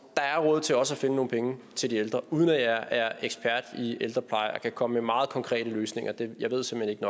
der er råd til også at finde nogle penge til de ældre uden at jeg er ekspert i ældrepleje og kan komme med meget konkrete løsninger jeg ved simpelt